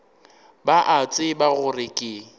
ba a tseba gore ke